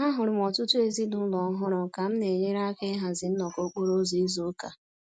M hụrụ m ọtụtụ ezinụlọ ọhụrụ ka m na-enyere aka ịhazi nnọkọ okporo ụzọ izu ụka